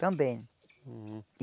Também. Hum